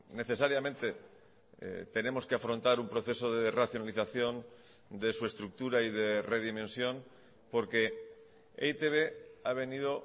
necesariamente tenemos que afrontar un proceso de racionalización de su estructura y de redimensión porque e i te be ha venido